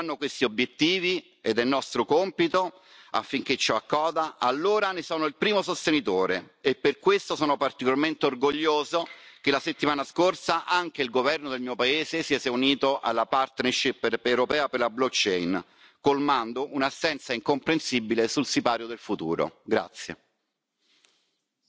Se queste tecnologie aiuteranno questi obiettivi, ed è nostro compito affinché ciò accada, allora ne sono il primo sostenitore, e per questo sono particolarmente orgoglioso che la settimana scorsa anche il governo del mio paese si sia unito alla partnership europea per la blockchain colmando un'assenza incomprensibile sul sipario del futuro.